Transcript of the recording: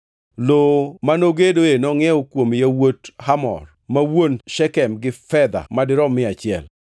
Lowo mano gedoe nongʼiewo kuom yawuot Hamor ma wuon Shekem gi fedha madirom mia achiel.